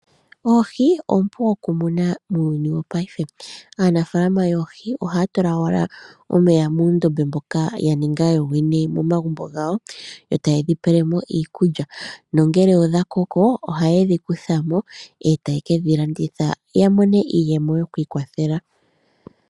Oohi oompu okumuna muuyuni wopaife. Aanafaalama yoohi ohaya tula wala omeya noohi muundombe mboka ya ninga yoyene momagumbo gawo yo ta ye dhi pele mo iikulya, nongele odha koko ohaye dhi kutha mo , e ta ye kedhi landitha ya mone iiyemo yoku ikwathela.